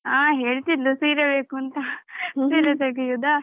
ಹ ಹೇಳ್ತಿದ್ಲು ಸೀರೆ ಬೇಕುಂತ ಸೀರೆ ತೆಗೆಯುದ?